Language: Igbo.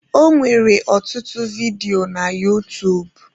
Ọ nwere ọtụtụ vidio na utuub